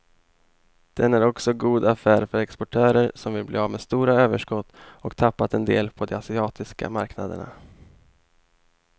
Den är också god affär för exportörer som vill bli av med stora överskott och tappat en del på de asiatiska marknaderna.